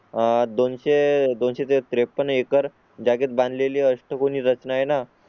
आह दोनशे त्रेपन्न एकर जागेत बांध लेली असते. कोणी रचना आहे ना?